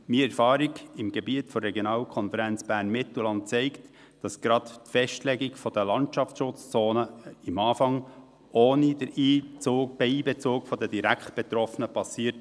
Meine Erfahrung im Rahmen der Regionalkonferenz Bern-Mittelland zeigt, dass gerade die Festlegung der Landschaftsschutzzonen am Anfang ohne den Einbezug der Direktbetroffenen geschah.